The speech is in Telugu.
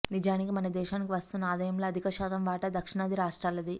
నిజానికి మన దేశానికి వస్తున్న ఆదాయంలో అధిక శాతం వాటా దక్షిణాది రాష్ట్రాలదే